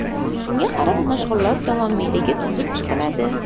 Shunga qarab mashg‘ulot davomiyligi tuzib chiqiladi.